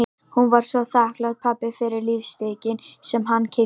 Hún var svo þakklát pabba fyrir lífstykkin sem hann keypti á hana í